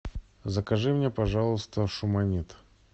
закажи мне пожалуйста шуманет